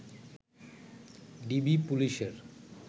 DB পুলিশের